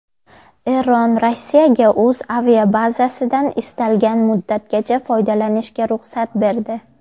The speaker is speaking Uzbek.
Eron Rossiyaga o‘z aviabazasidan istalgan muddatgacha foydalanishga ruxsat berdi.